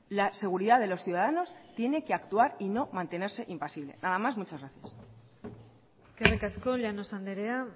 la seguridad de los ciudadanos tiene que actuar y no mantenerse impasible nada más muchas gracias eskerrik asko llanos andrea